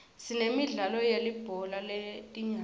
sinemidlalo yelibhola letinyawo